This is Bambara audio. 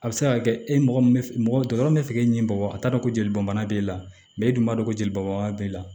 A bɛ se ka kɛ e mɔgɔ min bɛ mɔgɔ dɔgɔtɔrɔ bɛ fɛ k'e ɲini mɔgɔ a t'a dɔn ko joli bɔnbana b'i la mɛ e dun b'a dɔn ko joli bɔbaga b'e la